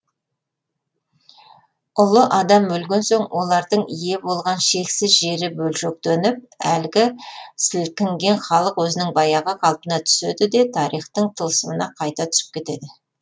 ұлы адам өлген соң олардың ие болған шексіз жері бөлшектеніп әлгі сілкінген халық өзінің баяғы қалпына түседі де тарихтың тылсымына қайта түсіп кетеді